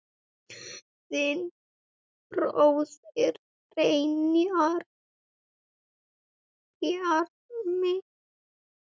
Þinn bróðir, Brynjar Bjarmi.